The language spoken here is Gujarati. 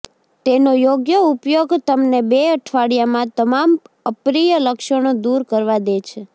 તેનો યોગ્ય ઉપયોગ તમને બે અઠવાડિયામાં તમામ અપ્રિય લક્ષણો દૂર કરવા દે છે